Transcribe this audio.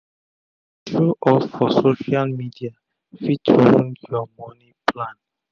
to dey show off for social media fit wound ur moni plan